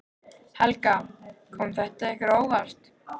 Helga: Kom þetta ykkur á óvart?